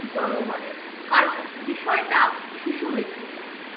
জনগণের কারণ বিষয়টা শিশু মৃত্যু নিয়ে।